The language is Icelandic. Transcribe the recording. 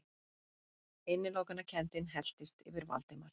Innilokunarkenndin helltist yfir Valdimar.